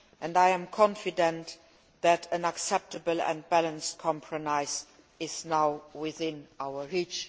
I am confident that an acceptable and balanced compromise is now within our reach.